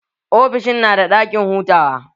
Ofishin na da ɗakin hutawa